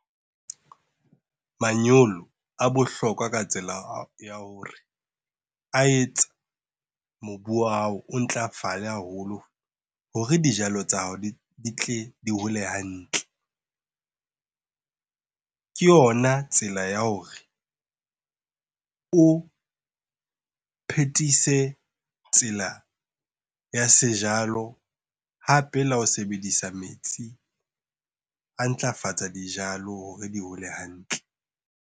Manyolo a bohlokwa ka tsela ya hore a etsa mobu wa hao, o ntlafale haholo hore dijalo tsa hao di tle di hole hantle. Ke yona tsela ya hore o phethise tsela ya sejalo hape le ha o sebedisa metsi, a ntlafatsa dijalo hore di hole hantle.